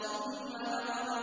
ثُمَّ نَظَرَ